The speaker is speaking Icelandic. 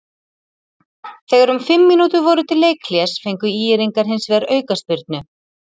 Þegar um fimm mínútur voru til leikhlés fengu ÍR-ingar hins vegar aukaspyrnu.